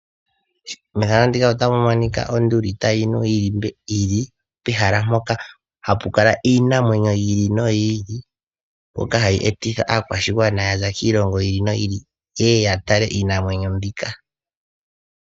Methano muka otamu monika onduli tayi nu yili pehala mpoka hapu kala iinamwenyo yi ili noyi ili mbyoka hayi etitha aakwashigwana ya za kiilongo yi ili noyi ili ye ye ya tale iinamwenyo mbika